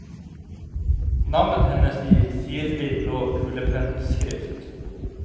Navnet hennes i sirlig blå kulepennskrift.